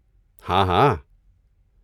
ہاں ہاں۔